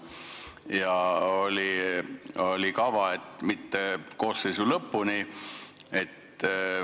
Ja oli kava, et mitte koosseisu lõpuni.